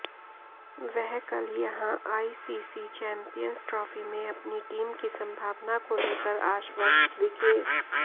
वह कल यहां आईसीसी चैंपियंस ट्रॉफी में अपनी टीम की संभावना को लेकर आश्वस्त दिखे